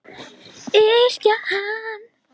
Yrkja hann!